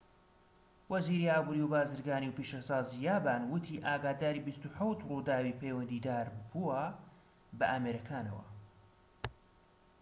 وەزیری ئابوری و بازرگانی و پیشەسازی یابان وتی ئاگاداری ٢٧ ڕووداوی پەیوەندیداربووە بە ئامێرەکانەوە